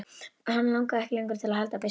Hann langaði ekki lengur til að halda byssunni.